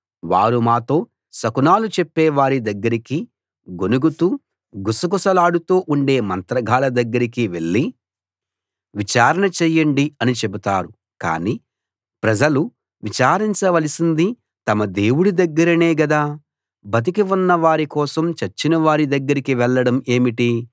వారు మాతో శకునాలు చెప్పే వారి దగ్గరికి గొణుగుతూ గుసగుసలాడుతూ ఉండే మంత్రగాళ్ళ దగ్గరికి వెళ్లి విచారణ చెయ్యండి అని చెబుతారు కానీ ప్రజలు విచారించవలసింది తమ దేవుడి దగ్గరనే గదా బతికి ఉన్న వారి కోసం చచ్చిన వారి దగ్గరికి వెళ్లడం ఏమిటి